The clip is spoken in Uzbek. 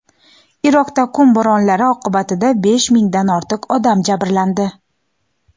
Iroqda qum bo‘ronlari oqibatida besh mingdan ortiq odam jabrlandi.